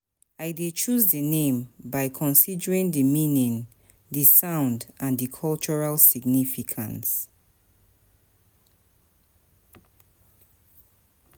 I dey choose di name by considering di meaning, di sound, and di cultural significance.